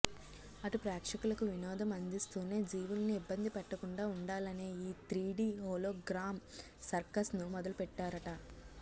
అటు ప్రేక్షకులకు వినోదం అందిస్తూనే జీవుల్ని ఇబ్బంది పెట్టకుండా ఉండాలనే ఈ త్రీడీ హోలోగ్రామ్ సర్కస్ను మొదలుపెట్టారట